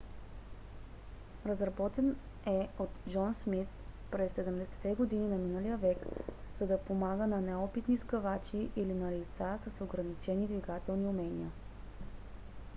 разработен е от джон смит през 70-те години на миналия век за да помага на неопитни сгъвачи или на лица с ограничени двигателни умения